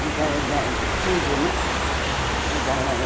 Medalha da de estudo, né? Estudava eh